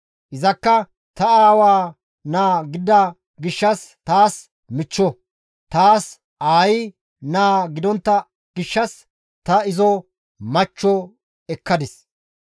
Izakka ta aawa naa gidida gishshas taas michcho; taas aayi naa gidontta gishshas ta izo machcho ekkadis.